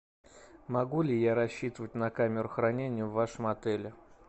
могу ли я рассчитывать на камеру хранения в вашем отеле